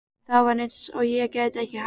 Það var eins og ég gæti ekki hætt.